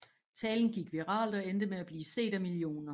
Talen gik viralt og endte med at blive set af millioner